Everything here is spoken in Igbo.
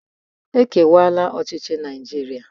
E kewara ọchịchị Naịjiria.